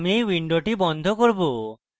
আমি এই window বন্ধ করব